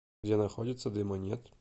где находится дыма нет